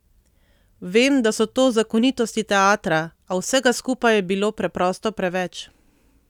Vem, da so to zakonitosti teatra, a vsega skupaj je bilo preprosto preveč.